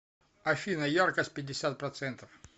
афина яркость пятьдесят процентов